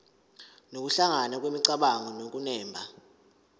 nokuhlangana kwemicabango nokunemba